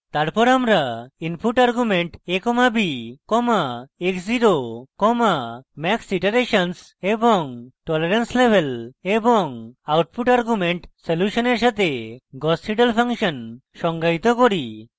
তারপর আমরা input arguments a comma b comma x zero comma max iterations এবং tolerance level এবং output arguments সলিউশনের সাথে gauss seidel ফাংশন সংজ্ঞায়িত করি